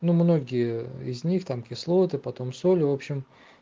ну многие из них там кислоты потом соли в общем